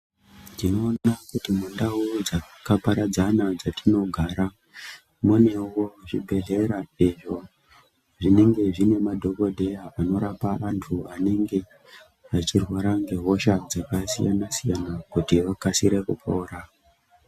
Tinoona kuti mundau dzakaparadzana dzatinogara munewo zvibhehlera zvine madhokodheya anorapa vantu vanenge vachirwara ngehosha dzakasiyana siyana kuti vakasire kupora.